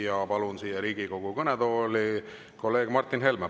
Ja palun siia Riigikogu kõnetooli kolleeg Martin Helme.